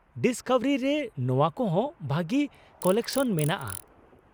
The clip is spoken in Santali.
ᱰᱤᱥᱠᱚᱵᱷᱟᱨᱤ ᱨᱮ ᱱᱚᱶᱟ ᱠᱚᱦᱚᱸ ᱵᱷᱟᱹᱜᱤ ᱠᱟᱞᱮᱠᱥᱚᱱ ᱢᱮᱱᱟᱜᱼᱟ ᱾